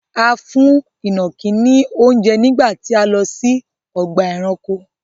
A fún ìnàkí ni oúnjẹ nígbà tí a lọ sí ọgbà-ẹranko.